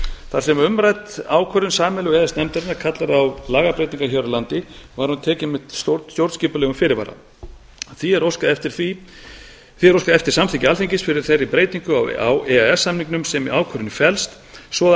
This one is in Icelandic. þar sem umrædd ákvörðun sameiginlegu e e s nefndarinnar kallar á lagabreytingar hér á landi var hún tekin með stjórnskipulegum fyrirvara því er óskað eftir samþykki alþingis fyrir þeirri breytingu á e e s samningnum sem í ákvörðuninni felst svo að